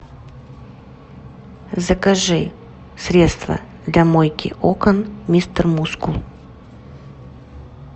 закажи средство для мойки окон мистер мускул